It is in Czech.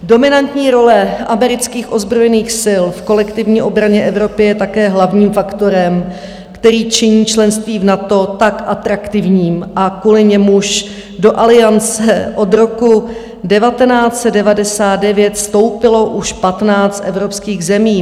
Dominantní role amerických ozbrojených sil v kolektivní obraně Evropy je také hlavním faktorem, který činí členství v NATO tak atraktivním a kvůli němuž do Aliance od roku 1999 vstoupilo už 15 evropských zemí.